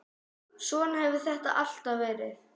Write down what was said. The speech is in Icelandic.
Svona hefur þetta alltaf verið.